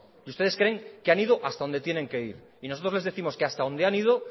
y ustedes creen que han ido hasta donde tienen que ir y nosotros les décimos que hasta donde han ido